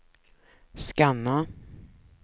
scanna